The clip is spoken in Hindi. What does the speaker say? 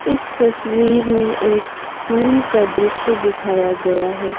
इस तस्वीर में एक स्कूल का दृश्य दिखाया गया है।